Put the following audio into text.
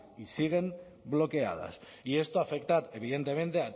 y siguen bloqueadas y esto afecta evidentemente